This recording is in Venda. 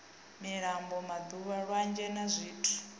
milambo madamu lwanzhe na zwithu